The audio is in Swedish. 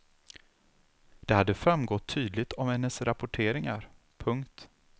Det hade framgått tydligt av hennes rapporteringar. punkt